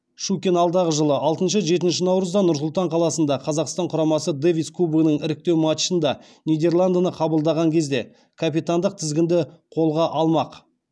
щукин алдағы жылы алтыншы жетінші наурызда нұр сұлтан қаласында қазақстан құрамасы дэвис кубогының іріктеу матчында нидерландыны қабылдаған кезде капитандық тізгінді қолға алмақ